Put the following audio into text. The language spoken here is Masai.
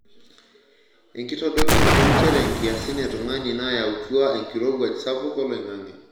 Enkitodolunoto nchere nkiasin e tungani naayautua enkirowuaj sapuk oloingange .